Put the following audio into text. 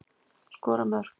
Skora mörk.